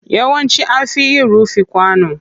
Yawanci an fi yin rufin kwano.